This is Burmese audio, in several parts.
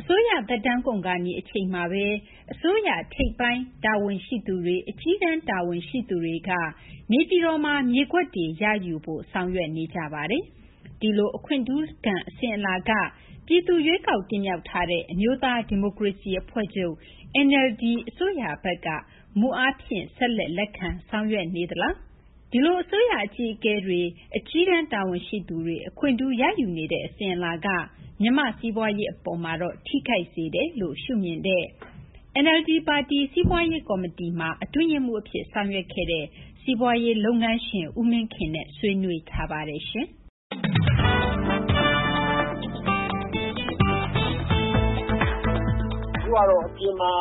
အစိုးရ သက်တမ်းကုန်ခါနီး အချိန်မှာဘဲ အစိုးရ ထိပ်ပိုင်း တာဝန်ရှိသူတွေက နေပြည်တော်မှာ မြေကွက်တွေ ရယူဖို့ ဆောင်ရွက်နေကြပါတယ်။ ဒီလို အခွင့်ထူးခံ အစဉ်အလာက ပြည်သူ ရွေးကောက် တင်မြှောက်ထားတဲ့ အမျိုးသား ဒီမိုကရေစီ အဖွဲ့ချုပ် NLD အစိုးရဘက်က မူအားဖြင့် ဆက်လက် လက်ခံ ဆောင်ရွက်နေပါသလား။ ဒီလို အစိုးရ အကြီးအကဲတွေ အကြီးတန်း တာဝန်ရှိသူတွေ အခွင့်ထူး ရယူနေတဲ့ အစဉ်အလာက မြန်မာ့ စီးပွားရေး အပေါ်မှာတော့ ထိခိုက်စေတယ်လို့ ရှုမြင်တဲ့ NLD ပါတီ စီးပွားရေး ကော်မတီမှာ အတွင်းရေးမှူး အဖြစ် ဆောင်ရွက်ခဲ့တဲ့ စီးပွားရေး လုပ်ငန်းရှင် ဦးမင်းခင်နဲ့ ဆွေးနွေးတင်ပြပါမယ်။ ကျမ သိင်္ဂ ီထိုက်ပါ။ ဦးမင်းခင် ။ ။ အခုကတော့ အပြင်မှာ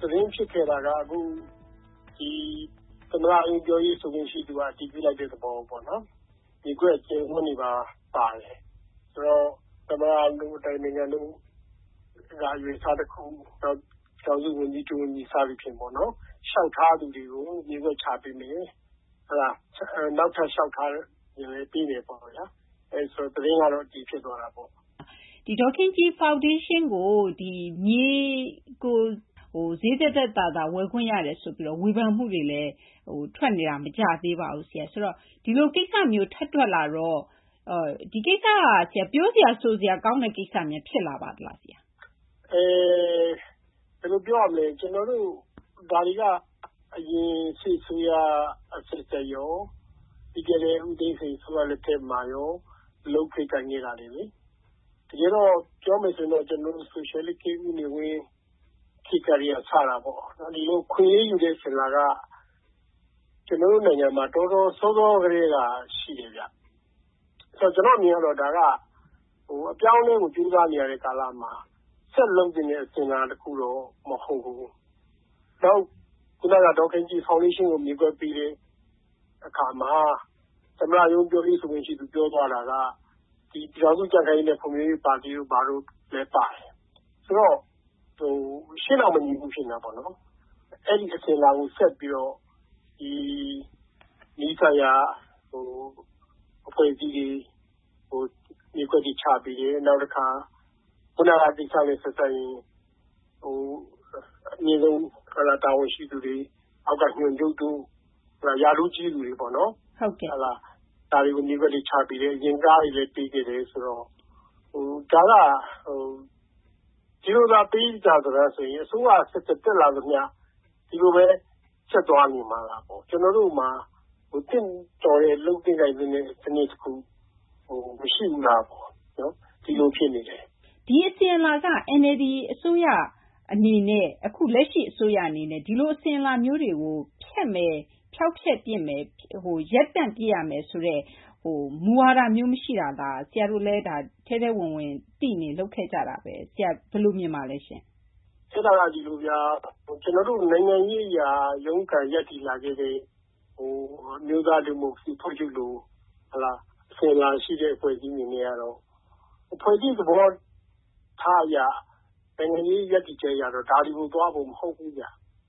သတင်းဖြစ်ခဲ့တာက အခု ဒီ သမ္မတရုံး ပြောရေး ဆိုခွင့် ရှိသူက အတည်ပြုလိုက်တဲ့ သဘောပေါ့နော်။ မြေကွက် အကျယ်အဝန်းတွေပါ ပါတယ်ပေါ့။ အဲတော့ သမ္မတတို့ အတိုင်ပင်ခံ တို့က အရွယ်အစား တခု ၊ နောက် ပြည်ထောင်စု ဝန်ကြီး၊ ဒု ဝန်ကြီး စသဖြင့် လျှောက်ထားသူတွေကို မြေကွက်တွေ ချပေးမယ်။ အဲတော့ နောက်ထပ် လျှောက်ထားသူတွေကိုလည်း ပေးမယ်ပေါ့ဗျာ။ ဆိုတော့ သတင်းကတော့ အတည်ဖြစ်သွားတာပေါ့။ သိင်္ဂ ီထိုက် ။ ။ ဒေါ်ခင်ကြည် ဖောင်ဒေးရှင်းကို မြေကို ဈေးသက်သက်သာသာနဲ့ ဝယ်ခွင့်ရတယ်ဆိုပြီး ဝေဖန်မှုတွေ ထွက်နေတာလည်း မကြာသေးပါဘူး ဆရာ။ ဆိုတော့ ဒီလို ကိစ္စမျိုး ထပ်ထွက်လာတော့ ဒီကိစ္စက ပြောစရာ ဆိုစရာ ကောင်းတဲ့ ကိစ္စများ ဖြစ်လာပါသလား ဆရာ။ ဦးမင်းခင် ။ ။ ကျနော်တို့ ဒါတွေက အရင် စစ်အစိုးရ အဆက်ဆက်ရော ပြီးခဲ့တဲ့ ဦးသိန်းစိန် အစိုးရ လက်ထက်မှာရော လုပ်ခဲ့ ကိုင်ခဲ့တာတွေလေ။ တကယ်တော့ ပြောမယ်ဆိုရင်တော့ ဆိုရှယ်လစ်ခေတ် ဦးနေဝင်းခေတ် ကတည်းက စတာပေါ့။ ဒီလို အခွင့်အရေးယူတဲ့ အစဉ်အလာက ကျနော်တို့ နိုင်ငံမှာ တော်တော်စောစော ကတည်းက ရှိတယ်ဗျ။ ဆိုတော့ ကျနော့် အမြင်ကတော့ ဒါက အပြောင်းအလဲကို ကြိုးစားနေရတဲ့ ကာလမှာ ဆက်လုပ်သင့်တဲ့ အစဉ်အလာ တခုတော့ မဟုတ်ဘူး။ နောက် ဒေါ်ခင်ကြည် ဖောင်ဒေးရှင်းကို မြေကွက်ပေးတဲ့ အခါမှာ သမ္မတရုံး ပြောရေးဆိုခွင့်ရှိသူ ပြောသွားတာက ဒီ ပြည်ထောင်စု ကြံ့ခိုင်ရေးနဲ့ ဖွံ့ဖြိုးရေး ပါတီတို့ ဘာတို့လည်း ပါတယ်။ ဆိုတော့ ရှေ့ နောက် မညီဘူူး ဖြစ်နေတာပေါ့နော်။ အဲဒီမှာဘဲ ဆက်ပြီးတော့ နီးစပ်ရာ အဖွဲ့အစည်းတွေ မြေကွက်တွေ ချပေးတယ်၊ နောက်တခါ ခုနက ကိစ္စနဲ့ ဆက်စပ်ရင် အမြင့်ဆုံး တာဝန်ရှိသူတွေ အောက်က ညွှန်ချုပ်တို့ ရာထူးကြီးသူတွေပေါ့နော် ဒါတွေကို မြေကွက်တွေ ချပေးတယ်။ အရင် ကားတွေလည်း ပေးခဲ့တယ် ဆိုတော့ ဒါက ဒီလိုသာ ပေးကြစတမ်းဆိုရင် အစိုးရ အဆက်ဆက် တက်လာသမျှ ဒီလိုဘဲ ဆက်သွားနေမှာလားပေါ့။ ကျနော်တို့မှာ သင့်တော်တဲ့ လုပ်သင့် ကိုင်သင့်တဲ့ စနစ် မရှိဘူးလားပေါ့နော် ဒီလို ဖြစ်နေတယ်။ သိင်္ဂ ီထိုက် ။ ။ ဒီအစဉ်အလာက NLD အစိုးရ အနေနဲ့ လက်ရှိ အစိုးရ အနေနဲ့ ဒီလို အစဉ်အလာမျိုးတွေကို ဖျက်မယ်၊ ဖျောက်ဖျက်ပစ်ရမယ်၊ ရပ်တန့် ပစ်ရမယ် ဆိုတဲ့ မူဝါဒမျိုး မရှိတာလား။ ဆရာတို့လည်း ထဲထဲဝင်ဝင် သိနေကြ လုပ်ခဲ့ကြတာဘဲ။ ဆရာ ဘယ်လို မြင်ပါလဲရှင့်။ ဦးမင်းခင် ။ ။ ခက်တာက ဒီလိုဗျာ။ ကျနော်တို့ နိုင်ငံရေး အရ ရုန်းကန် ရပ်တည်လာခဲ့တဲ့ အမျိုးသား ဒီမိုကရေစီ အဖွဲ့ချုပ်လို အစဉ်အလာ ရှိတဲ့ အဖွဲ့အစည်း အနေနဲ့ကတော့ အဖွဲ့အစည်း သဘောထား အရ နိုင်ငံရေး ရပ်တည်ချက် အရ ဒါတွေကို သွားဖို့ မဟုတ်ဘူးဗျ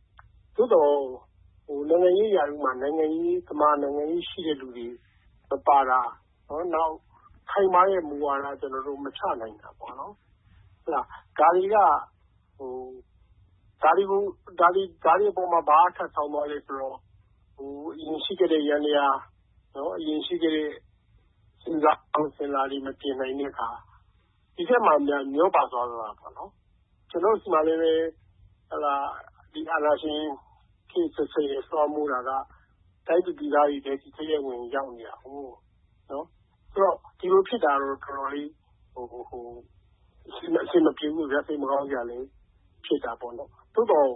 ။ သို့သော် နိုင်ငံရေး ရာထူးမှာ နိုင်ငံရေးသမား နိုင်ငံရေး ရှိတဲ့သူတွေ မပါတာ၊ နောက် ခိုင်မာတဲ့ မူဝါဒ ကျနော်တို့ မချနိုင်တာပေါ့နော်။ ဒါတွေပေါ်မှာ ဘာက ထပ်ဆောင်းသွားလဲ ဆိုတော့ အရင် ရှိခဲ့တဲ့ ယန္တယား အရင် ရှိခဲ့တဲ့ အစဉ်အလာတွေ မပြင်နိုင်တဲ့ အခါ ဒီထဲမှာများ မျောပါသွားသလား ပေါ့နော်။ ကျနော်တို့ ဆီမှာလည်းဘဲ ဒီ အာဏာရှင် ခေတ်အဆက်ဆက်ရဲ့ လွှမ်းမိုးတာက တိုင်းသူပြည်သားတွေထဲ ထဲထဲဝင်ဝင် ရောက်နေတာကိုး။ ဆိုတော့ ဒီလို ဖြစ်တာတော့ တော်တော်လေး အဆင်မပြေဘူးပေါ့ဗျာ။ စိတ်မကောင်းစရာလည်း ဖြစ်တာပေါ့နော်။ သို့သော်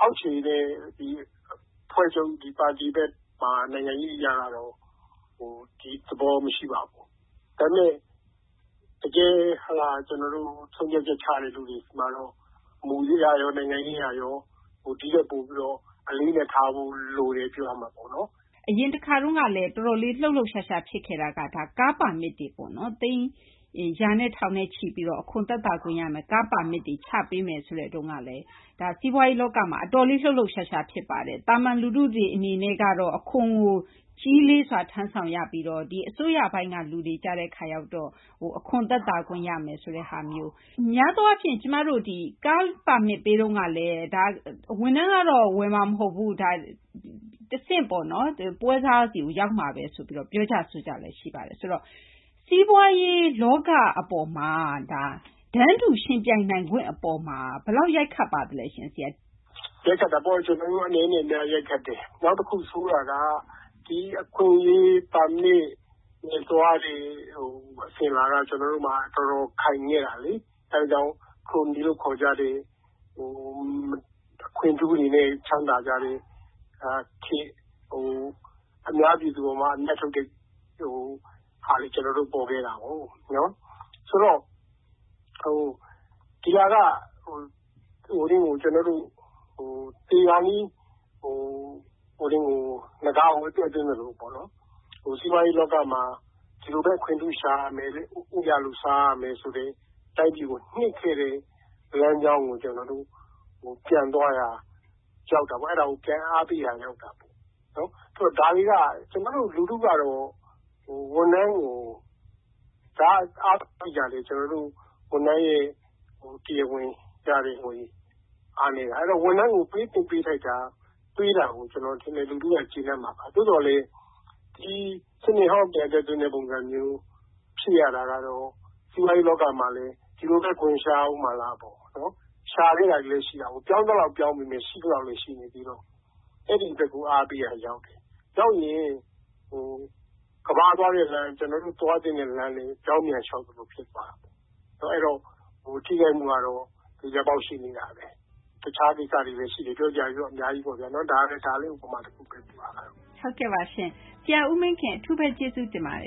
အောက်ခြေနဲ့ အဖွဲ့ချုပ် ဒီ ပါတီနဲ့မှာ နိုင်ငံရေး အရကတော့ ဒီသဘော မရှိပါဘူး။ ဒါပေမယ့် တကယ် ဆုံးဖြတ်ချက် ချတဲ့ လူတွေမှာတော့ မူအရရော နိုင်ငံရေး အရရော ဒီထက် ပိုပြီးတော့ အလေးအနက်ထားဖို့ လိုတယ် ပြောရမှာပေါ့နော်။ သိင်္ဂ ီထိုက် ။ ။ အရင်တခါကလည်း တော်တော်လေး လှုပ်လှုပ်ရှားရှား ဖြစ်ခဲ့တာက ကားပါမစ်တွေပေါ့နော်။ သိန်း ရာနဲ့ ထောင်နဲ့ချီ သက်သာမယ့် ကားပါမစ်တွေ ချပေးမယ်ဆိုတုန်းကလည်း စီးပွားရေး လောကမှာ အတော်လေး လှုပ်လှုပ်ရှားရှား ဖြစ်ပါတယ်။ သာမန် လူထုတွေ အနေနဲ့ကတော့ အခွန်ကို ကြီးလေးစွာ ထမ်းဆောင်ရပြီးတော့ ဒီ အစိုးရပိုင်းကရောက်တော့ အခွန် သက်သာခွင့် ရမယ်ဆိုတဲ့ ဟာမျိုး။ များသော အားဖြင့် ဒီ ကားပါမစ် ပေးတုန်းကလည်း ဒါ ဝန်ထမ်းကတော့ ဝယ်မှာ မဟုတ်ဘူး တဆင့်ပေါ့နော် ပွဲစားဆီကို ရောက်မှာဘဲ ဆိုပြီး ပြောကြ ဆိုကြလည်း ရှိတယ် ဆိုတော့ စီးပွားရေး လောက အပေါ်မှာ တန်းတူ ယှဉ်ပြိုင်နိုင်ခွင့် အပေါ်မှာ ဘယ်လောက် ရိုက်ခတ်ပါသလဲရှင့် ဆရာ။ ဦးမင်းခင် ။ ။ ရိုက်ခတ်တာပေါ့။ ကျနော်တို့ အနည်းနဲ့ အများ ရိုက်ခတ်ပါတယ်။ နောက်တခု ဆိုးတာက ဒီ အခွင့်အရေး ပါမစ် နဲ့ သွားနေတဲ့ အစဉ်အလာက ကျနော်တို့မှာ တော်တော် ခိုင်ခဲ့တာလေ။ အဲဒါကြောင့် ခရိုနီလို့ ခေါ်ကြတဲ့ အခွင့်ထူးတွေနဲ့ ချမ်းသာကြတဲ့ အများပြည်သူ အပေါ်မှာ အမြတ်ထုတ်တဲ့ဟာ ပေါ်ခဲ့တာကိုး။ ဆိုတော့ ဒီဟာက သေခါနီး နဂါးကို အသက်သွင်း သလိုပေါ့နော်။ စီးပွားရေး လောကမှာ ဒီလိုဘဲ အခွင့်ထူး ရှာရမယ်၊ ဦးရာလူ စားရမယ် ဆိုတဲ့ တိုင်းပြည်ကို နှစ်ခဲ့တဲ့ လမ်းကြောင်းကို ကျနော်တို့ ပြန်သွားရာ ရောက်တာပေါ့။ အဲဒါကို ပြန်အားပေးရာ ရောက်တာပေါ့။ ကျနော်တို့ လူထုကတော့ ဝန်ထမ်းကို ဒါပေးတာလည်း ကျနော်တို့ ဝန်ထမ်းရဲ့ တရားဝင် ရတဲ့ ဝင်ငွေ အားနည်းတာ။ အဲတော့ ဝန်ထမ်းကို ပေးသင့် ပေးထိုက်တာ ပေးတာကို ကျနော်ထင်တယ် လူထုက ကျေနပ်မှာပါ။ သို့သော်လည်း ဒီ စနစ်ဟောင်းကို ပြန်အသက်သွင်းတဲ့ ပုံစံမျိုး ဖြစ်ရတာကတော့ စီးပွားရေး လောကမှာလည်း ဒီလိုဘဲ ခွင်ရှာရအုံးမှာလားပေါ့နော်။ ရှာခဲ့တာတွေလည်း ရှိတာကိုး။ ပြောင်းသလောက်လည်း ပြောင်းသွားပေမယ့် ရှိသလောက်လည်း ရှိနေသေးတော့ အဲဒီ အတွက်ကို အားပေးရာ ရောက်တယ်။ ရောက်ရင် ကမ္ဘာက သွားတဲ့လမ်း ကျနော်တို့ သွားသင့်တဲ့ လမ်းနဲ့ ပြောင်းပြန် လျှောက်သလို ဖြစ်နေပါတယ်။ အဲတော့ ထိခိုက်မှုကတော့ သေချာပေါက် ရှိနေတာဘဲ။ တခြားကိစ္စတွေလည်း ရှိနေတယ်။ ပြောစရာတွေတော့ အများကြီးပေါ့ဗျာ။ ဒါကလည်း ဥပမာဘဲဗျ။ သိင်္ဂ ီထိုက်။ ။ ဟုတ်ကဲ့ရှင့်။ ဆရာ ဦးမင်းခင် အထူးဘဲ ကျေးဇူးတင်ပါတယ်